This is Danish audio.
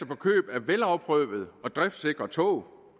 på køb af velafprøvede og driftsikre tog